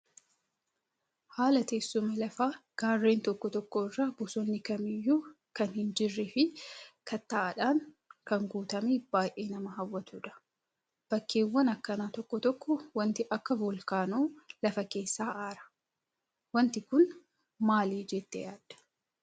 Haala teessuma lafaa garreen tokko tokko irratti bosonni kamiyyuu kan hin jirree fi kattaadhaan kan guutamee baay'ee nama hawwatudha. Bakkeewwan akkanaa tokko tokkotti wanti akka volkaanoo lafa keessaa aara. Wanti Kun maali jettee yaaddaa?